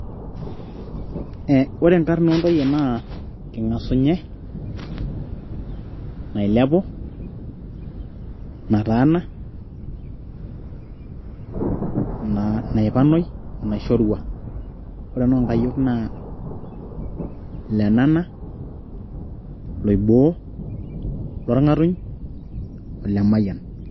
Ee ore inkar oontoyie naa king'asunyie, nailepu, nataana, naipanoi onaishorua ,ore inoonkayiok naa lenana loiboo lorng'atuny o Lemayian.